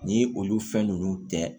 Ni olu fɛn nunnu tɛ